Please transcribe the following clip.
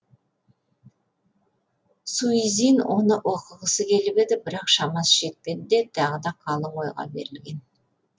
суизин оны оқығысы келіп еді бірақ шамасы жетпеді де тағы да қалың ойға берілген